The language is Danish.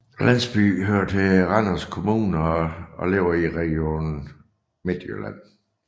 Landsbyen hører til Randers Kommune og ligger i Region Midtjylland